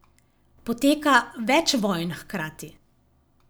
Poteka več vojn hkrati.